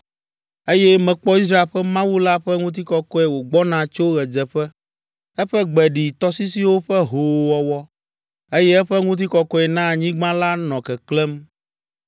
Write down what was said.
eye mekpɔ Israel ƒe Mawu la ƒe ŋutikɔkɔe wògbɔna tso ɣedzeƒe. Eƒe gbe ɖi tɔsisiwo ƒe hoowɔwɔ, eye eƒe ŋutikɔkɔe na anyigba la nɔ keklẽm.